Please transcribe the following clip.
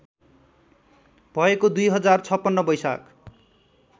भएको २०५६ वैशाख